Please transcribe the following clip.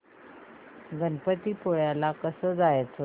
गणपतीपुळे ला कसं जायचं